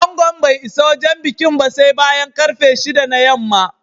Angon bai isa wajen bikin ba sai bayan ƙarfe shida na yamma